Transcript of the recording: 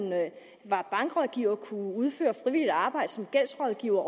er bankrådgiver kunne udføre frivilligt arbejde som gældsrådgiver